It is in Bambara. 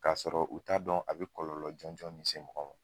k'a sɔrɔ u t'a dɔn a bɛ kɔlɔlɔ jɔnɔn min se mɔgɔ ma.